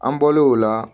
An bɔlen o la